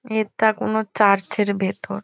এটা কোনো চার্চ -এর ভেতর ।